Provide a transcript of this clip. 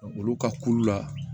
Olu ka kulu la